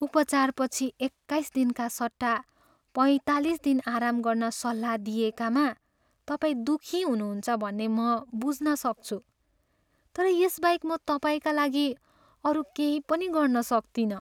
उपचारपछि एक्काइस दिनका सट्टा पैँतालिस दिन आराम गर्न सल्लाह दिइएकामा तपाईँ दुःखी हुनुहुन्छ भन्ने म बुझ्न सक्छु। तर यसबाहेक म तपाईँका लागि अरू केही पनि गर्न सक्तिनँ।